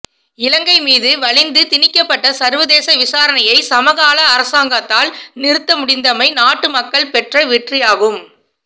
இலங்கை மீது வலிந்து திணிக்கப்பட்ட சர்வதேச விசாரணையை சமகால அரசாங்கத்தால் நிறுத்த முடிந்தமை நாட்டு மக்கள் பெற்ற வெற்றியாகும்